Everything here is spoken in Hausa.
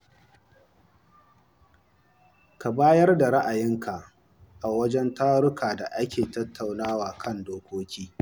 Ka bayar da ra'ayoyin ka a wajen tarukan da ake tattaunawa kan dokoki.